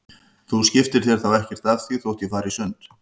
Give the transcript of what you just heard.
Þú skiptir þér þá ekkert af því þótt ég fari í sund?